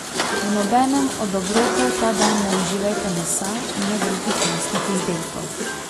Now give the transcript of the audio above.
V nobenem od obrokov ta dan ne uživajte mesa in ne drugih mesnih izdelkov.